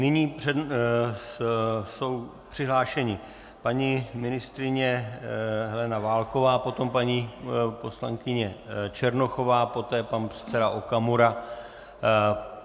Nyní jsou přihlášeni paní ministryně Helena Válková, potom paní poslankyně Černochová, poté pan předseda Okamura.